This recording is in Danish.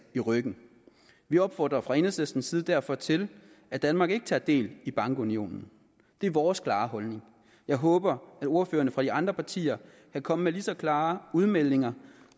i ryggen vi opfordrer fra enhedslistens side derfor til at danmark ikke tager del i bankunionen det er vores klare holdning jeg håber at ordførerne fra de andre partier kan komme med lige så klare udmeldinger